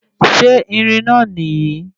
Ṣe irin náà nìyí